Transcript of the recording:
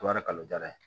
O yɛrɛ ka kalo diyara ye